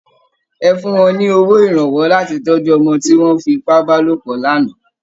Ẹ fún wọn ní owó ìrànwọ́ láti tọ́jú ọmọ tí wọ́n fi ipá bá lòpọ̀ lánàá!